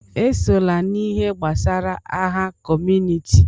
Esona n'ihe gbasara agha kọmunịti!